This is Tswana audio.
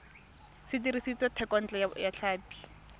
se dirisitswe thekontle ya tlhapi